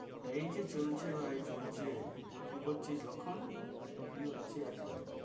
এই যে চলছে ভাই চলছে। কি করছিস লক্ষণ, কি হচ্ছে আজকাল?